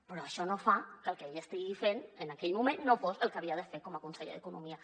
però això no fa que el que ell estigués fent en aquell moment no fos el que havia de fer com a conseller d’economia